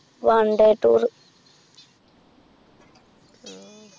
One day tour